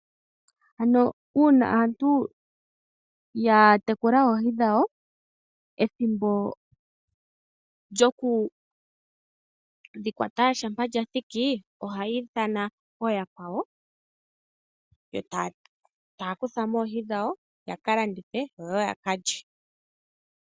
Ano uuna aantu ya tekula oohi dhawo ethimbo lyoku dhi kwata shampa lyathiki, ohaya ithana ooyakwawo etaya kutha mo oohi dhawo yaka kandithi yo yaka lye.